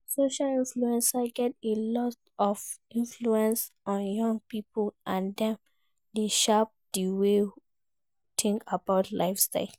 Social influencers get a lot of influence on young people, and dem dey shape di way we think about lifestyle.